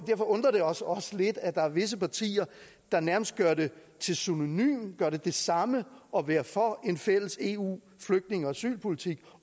undrer det os også lidt at der er visse partier der nærmest gør det synonymt gør det til det samme at være for en fælles eu flygtninge og asylpolitik